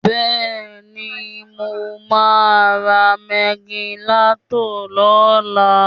Bẹ́ẹ̀ni mo máa ra Ragilatọ̀ lọ́la